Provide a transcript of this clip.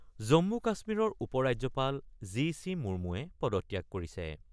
জম্মু - কাশ্মীৰৰ উপৰাজ্যপাল G C মুমুৱে পদত্যাগ কৰিছে ।